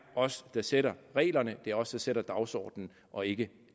os der sætter reglerne det er os der sætter dagsordenen og ikke